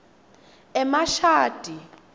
emashadi